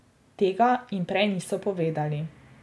Tega jim prej niso povedali.